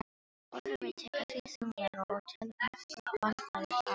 Ormur tekur því þunglega og telur nokkur vandkvæði þar á.